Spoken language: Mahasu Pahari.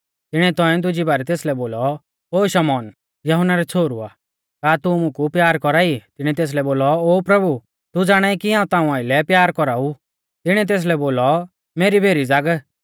तिणीऐ तौंइऐ दुजी बारै तेसलै बोलौ ओ शमौन यहुन्ना रै छ़ोहरु आ का तू मुकु प्यार कौरा ई तिणीऐ तेसलै बोलौ ओ प्रभु तू ज़ाणाई कि हाऊं ताऊं आइलै प्यार कौराऊ तिणीऐ तेसलै बोलौ मेरी भेरी ज़ाग